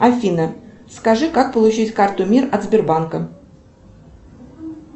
афина скажи как получить карту мир от сбербанка